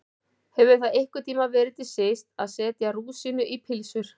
Hefur það einhvern tíma verið til siðs að setja rúsínu í pylsur?